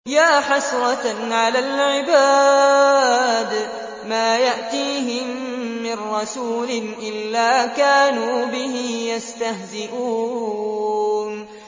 يَا حَسْرَةً عَلَى الْعِبَادِ ۚ مَا يَأْتِيهِم مِّن رَّسُولٍ إِلَّا كَانُوا بِهِ يَسْتَهْزِئُونَ